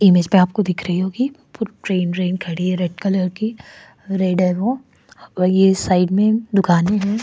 Image प आपको दिख रही होगी फ ट्रेन रेन खड़ी है रेड कलर की रेड है वो और ये साइड में दुकानें हैं।